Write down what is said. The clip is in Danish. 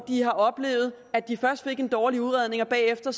har oplevet at de først fik en dårlig udredning og bagefter